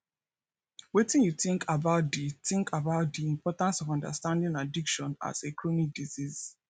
wetin you think about di think about di importance of understanding addiction as a chronic disease